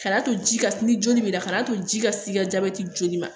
Kana to ji ka ni joli b'i la kana to ji ka s'i ka jabɛti joli ma